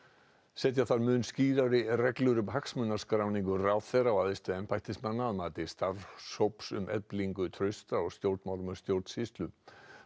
setja þarf mun skýrari reglur um hagsmunaskráningu ráðherra og æðstu embættismanna að mati starfshóps um eflingu trausts á stjórnmálum og stjórnsýslu